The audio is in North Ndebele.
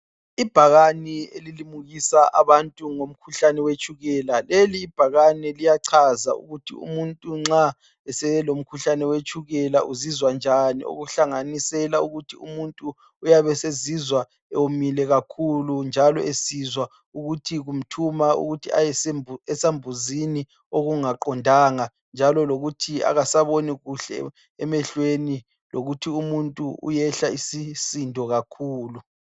Ibhakane elilimukisa abantu ngomkhuhlane wetshukela. Lelibhakane liyachaza ukuthi umuntu nxa eselomkhuhlane wetshukela uzizwa njani okuhlanganisela ukuthi umuntu uyabe sezizwa ewomile kakhulu njalo esizwa ukuthi kumthuma ukuyesambuzini okungaqondanga njalo lokuthi akasaboni kuhle emehlweni lokuthi umuntu uyehla isisindo kakhulu.